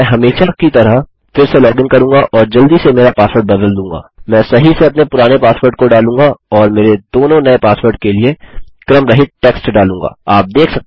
मैं हमेशा की तरह फिर से लॉगिन करूँगा और जल्दी से मेरा पासवर्ड बदल दूँगा मैं सही से अपने पुराने पासवर्ड को डालूँगा और मेरे दोनों नये पासवर्ड के लिए क्रमरहित टेक्स्ट डालूँगा